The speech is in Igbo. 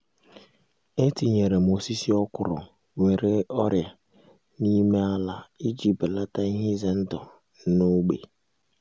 etinyerem osisi okro nwere ọrịa na-ime ala iji belata ihe ize ndụ na-ógbè